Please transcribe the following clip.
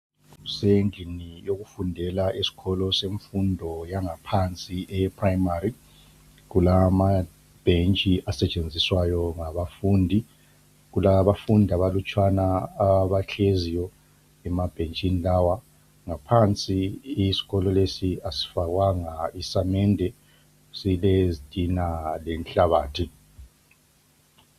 Kusendlini yokufundela eskolo semfundo yangaphansi, eyePrimary. Kulamabhentshi asetshenziswayo ngabafundi. Kulabafundi abalutshwana abahleziyo emabhentshini lawa. Ngaphansi isikolo lesi asifakwanga isamende, silezitina lenhlabathi.